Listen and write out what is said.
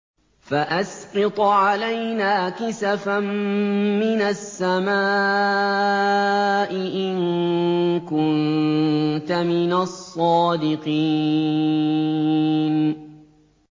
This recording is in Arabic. فَأَسْقِطْ عَلَيْنَا كِسَفًا مِّنَ السَّمَاءِ إِن كُنتَ مِنَ الصَّادِقِينَ